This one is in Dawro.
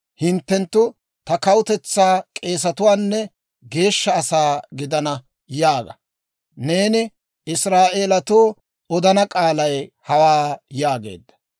hinttenttu ta kawutetsaa k'eesatuwaanne geeshsha asaa gidana› yaaga; neeni Israa'eelatoo odana k'aalay hawaa» yaageedda.